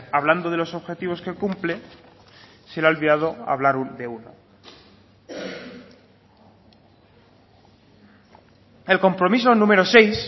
hablando de los objetivos que cumple se le ha olvidado hablar de uno el compromiso número seis